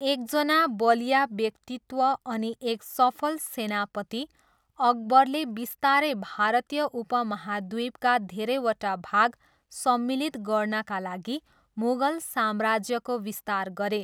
एकजना बलिया व्यक्तित्व अनि एक सफल सेनापति अकबरले बिस्तारै भारतीय उपमहाद्वीपका धेरैवटा भाग सम्मिलित गर्नाका लागि मुगल साम्राज्यको विस्तार गरे।